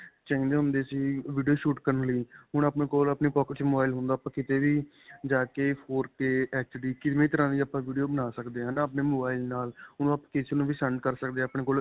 ਚਾਹੀਦੇ ਹੁੰਦੇ ਸੀ video shoot ਕਰਨ ਦੇ ਲਈ ਹੁਣ ਆਪਣੇ ਕੋਲ ਆਪਣੀ pocket ਦੇ ਵਿੱਚ mobile ਹੁੰਦਾ ਆਪਾਂ ਕੀਤੇ ਵੀ ਜਾਕੇ four K HD ਕਿਵੇ ਵੀ ਤਰਾਂ ਦੀ ਆਪਾਂ video ਬਣਾ ਸਕਦੇ ਹਾਂ ਹੈ ਨਾਂ. ਆਪਣੇ mobile ਨਾਲ ਓਹ ਆਪਾਂ ਕਿਸੇ ਨੂੰ ਵੀ send ਕਰ ਸਕਦੇ ਹਾਂ ਆਪਣੇ ਕੋਲ.